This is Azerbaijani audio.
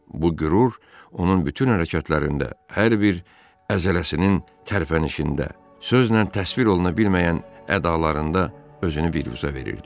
Bu qürur onun bütün hərəkətlərində, hər bir əzələsinin tərpənişində, sözlə təsvir olunabilməyən ədalarında özünü birruzə verirdi.